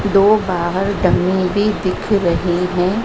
दो बाहर डमी भी दिख रही हैं।